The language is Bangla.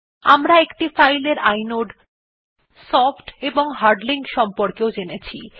আমরা একটি ফাইল এর ইনোড সফ্ট এবং হার্ড লিঙ্ক সম্পর্কেও জেনেছি